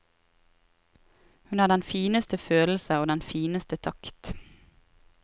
Hun har den fineste følelse og den fineste takt.